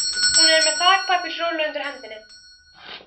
Hún er með þakpapparúllu undir hendinni.